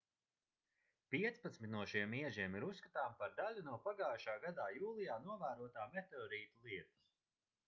piecpadsmit no šiem iežiem ir uzskatāmi par daļu no pagājušā gadā jūlijā novērotā meteorītu lietus